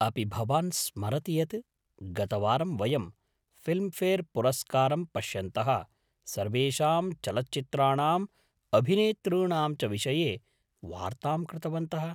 अपि भवान् स्मरति यत् गतवारं वयं फ़िल्मफ़ेर् पुरस्कारं पश्यन्तः सर्वेषां चलच्चित्राणाम् अभिनेतॄणां च विषये वार्तां कृतवन्तः?